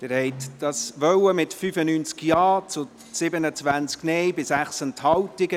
Sie wollen dies mit 95 Ja- zu 27 Nein-Stimmen bei 6 Enthaltungen.